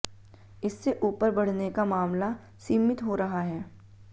इससे ऊपर बढऩे का मामला सीमित हो रहा है